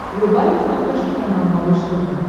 врубай на смотрешке канал малыш тв